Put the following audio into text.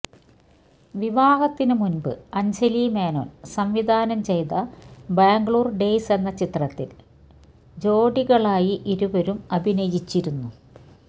വിവാഹത്തിനുമുന്പ് അഞ്ജലി മേനോന് സംവിധാനം ചെയ്ത ബാംഗ്ലൂര് ഡെയ്സ് എന്ന ചിത്രത്തില് ഡോഡികളായി ഇരുവരും അഭിനയിച്ചിരുന്നു